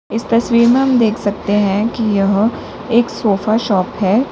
इस तस्वीर में हम देख सकते हैं यह एक सोफा शॉप है।